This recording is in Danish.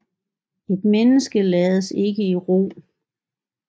Et menneske lades ikke i ro